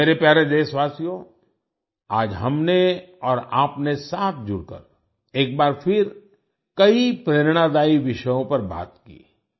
मेरे प्यारे देशवासियो आज हमने और आपने साथ जुड़कर एक बार फिर कई प्रेरणादायी विषयों पर बात की